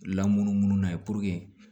Lamunumunu na puruke